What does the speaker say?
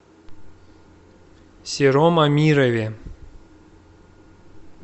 сером амирове